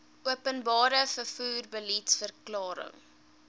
openbare vervoer beliedsverklaring